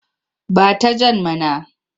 Ba ta jan mana!